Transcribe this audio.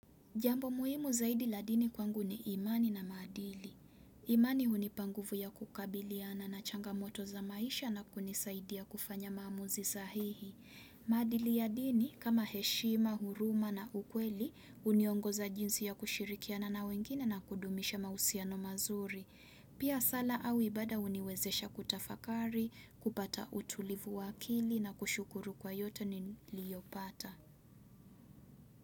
Jambo muhimu zaidi la dini kwangu ni imani na maadili. Imani hunipa nguvu ya kukabiliana na changamoto za maisha na kunisaidia kufanya maamuzi sahihi. Maadili ya dini kama heshima, huruma na ukweli huniongoza jinsi ya kushirikiana na wengine na kudumisha mausiano mazuri. Pia sala au ibada huniwezesha kutafakari, kupata utulivu wa akili na kushukuru kwa yote niliyopata.